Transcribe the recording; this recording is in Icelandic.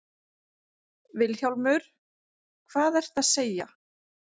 VILHJÁLMUR: Hvað ertu að segja!